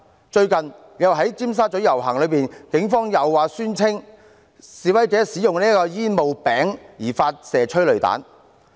在最近的尖沙咀遊行，警方又宣稱因為示威者使用煙霧餅而發射催淚彈。